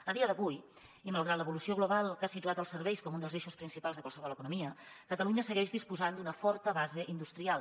a dia d’avui i malgrat l’evolució global que ha situat els serveis com un dels eixos principals de qualsevol economia catalunya segueix disposant d’una forta base industrial